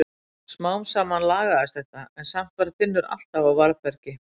Smám saman lagaðist þetta en samt var Finnur alltaf á varðbergi.